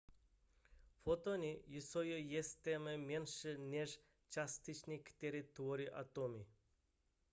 fotony jsou ještě menší než částice které tvoří atomy